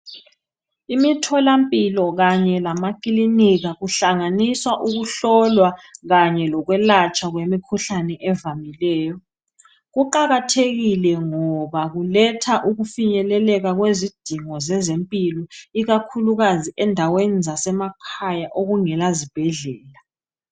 Imitholampilo kanye lamakilinika kuhlanganisa ukuhlolwa Kanye lokwelatshwa kwemikhuhlane evamileyo. Kuqakathekile ngoba kuletha ukufinyeleleka kwezidingo zezempilo ikakhulukazi endaweni zasemakhaya okungelazibhedlela.